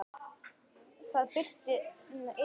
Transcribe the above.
Það birti yfir honum.